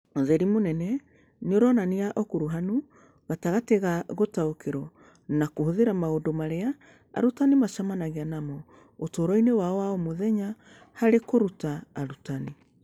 ũtheri mũnene nĩ aronania ũkuruhanu gatagatĩ ga gũtaũkĩrũo na kũhũthĩra maũndũ marĩa arutani macemanagia namo ũtũũro-inĩ wao wa o mũthenya harĩ kũruta arutani.